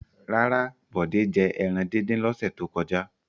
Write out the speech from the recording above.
Rárá, Bọ̀dé jẹ ẹran dídín lọ́sẹ̀ tó kọjá.